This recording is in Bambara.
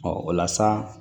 Ɔ o la sa